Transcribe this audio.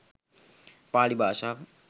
පාලි භාෂාව